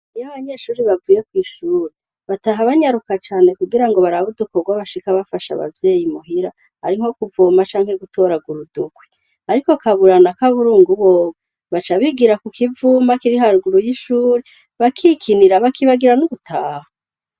Iy'abanyeshure bavuye kw'ishuri bataha banyaruka kugira barabe udukorwa bafasha abavyeyi muhira ari nko kuvoma canke gutoragura udukwi. Ariko Kabura na Kaburungu bobo baca bigira kukivuma kiri haruguru y'ishure bakikinira bakibagira no gutaha.